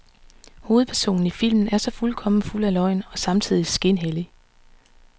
Hovedpersonen i filmen er så fuldkommen fuld af løgn og samtidigt skinhellig.